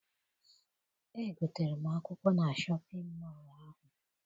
Egotere m akwụkwọ na shọpịn mọọ ahụ.